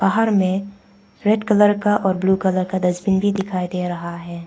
बाहर में red colour का और ब्लू कलर का डस्टबिन भी दिखाई दे रहा है।